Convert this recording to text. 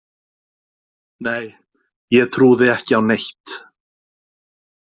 Nei ég trúði ekki á neitt.